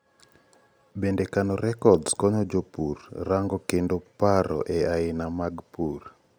bende kano records konyo jopur rango kendo paro e aina mag pur